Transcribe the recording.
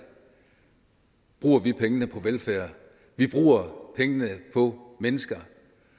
bruger vi pengene på velfærd vi bruger pengene på mennesker